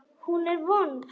Hún er vond.